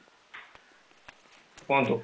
କୁହନ୍ତୁ